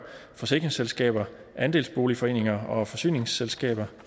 forsikringsselskaber andelsboligforeninger og forsyningsselskaber